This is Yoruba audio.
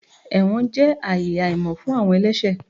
Ẹwọn jẹ aayè àhamọ fún awọn ẹlẹṣẹ.